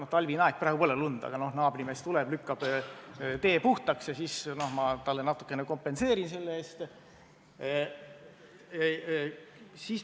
On talvine aeg, praegu pole lund, aga kui on, siis naabrimees tuleb lükkab tee puhtaks ja siis ma talle natukene maksan selle eest.